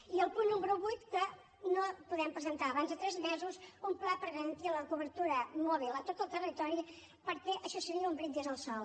i el punt número vuit que no podem presentar abans de tres mesos un pla per garantir la cobertura mòbil a tot el territori perquè això seria un brindis al sol